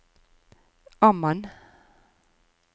Amman